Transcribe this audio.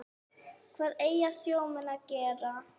Hvað eiga sjómenn að gera?